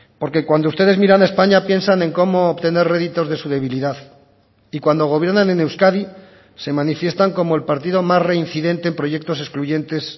porque cuando ustedes miran a españa piensan en cómo obtener réditos de su debilidad y cuando gobiernan en euskadi se manifiestan como el partido más reincidente en proyectos excluyentes